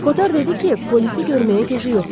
Kotar dedi ki, polisi görməyə gözü yoxdur.